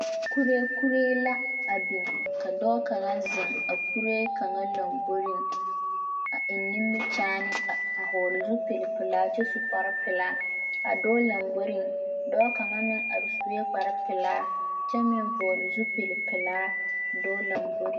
Kuree la a biŋ ka dɔɔ kaŋa zeŋ a kuree kwŋa lamboriŋ a eŋ nimikyaane a hɔɔle zupilipelaa kyɛ su kparpelaa a dɔɔ lamboriŋ dɔɔ kaŋ meŋ are sue kparpelaa kyɛ meŋ vɔɔle zupilipelaa a dɔɔ lamboriŋ.